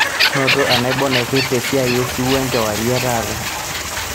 noto enaibon naipirta esiai osiwuo enkewarie etaata